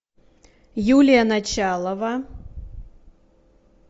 юлия началова